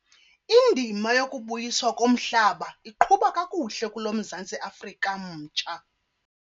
Indima yokubuyiswa komhlaba iqhuba kakuhle kulo Mzantsi Afrika mtsha.